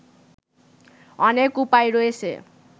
অনেক উপায় রয়েছে